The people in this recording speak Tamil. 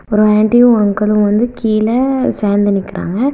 ஒரு ஏண்டியூ ஒரு அங்க்களும் வந்து கீழ சேந்து நிக்றாங்க.